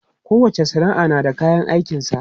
Kowacce sana'a da kayan aikinsa.